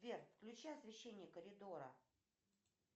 сбер включи освещение коридора